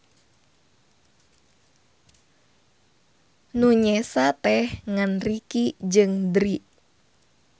Nu nyesa teh ngan Ricky jeung Drie.